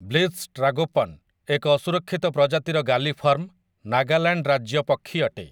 Blyth's tragopan, ଏକ ଅସୁରକ୍ଷିତ ପ୍ରଜାତିର ଗାଲିଫର୍ମ, ନାଗାଲାଣ୍ଡର ରାଜ୍ୟ ପକ୍ଷୀ ଅଟେ ।